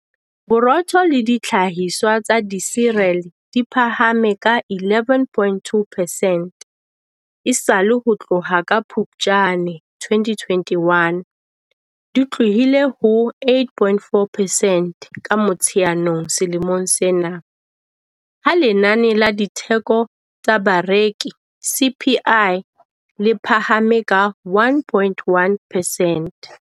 Borotho le dihlahiswa tsa disirele di phahame ka 11.2 percent esale ho tloha ka Phuptjane 2021, di tlohile ho 8.4 percent ka Motsheanong selemong sena, ha Lenane la Ditheko tsa Bareki, CPI, le phahame ka 1.1 percent.